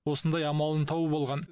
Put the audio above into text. осындай амалын тауып алған